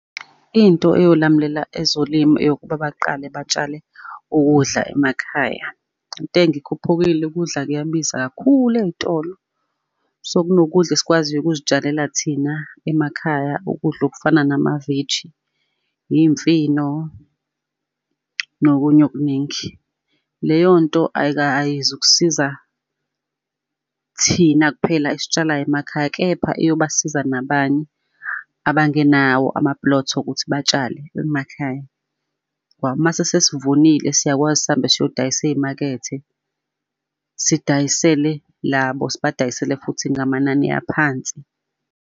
Into ayolamulela ezolimo eyokuba baqale batshale ukudla emakhaya. Intengo ikhuphukile ukudla kuyabiza kakhulu ey'tolo, so, kunokudla esikwaziyo ukuzitshalela thina emakhaya, ukudla okufana namaveji, iy'mfino, nokunye okuningi. Leyo nto ayizukusiza thina kuphela esitsalayo emakhaya, kepha eyobasiza nabanye abangenawo ama-plot wokuthi batshale emakhaya. Ngoba mase sesivunile siyakwazi sihambe siyodayisa ey'makethe sidayisele labo, sibadayisele futhi ngamanani aphansi.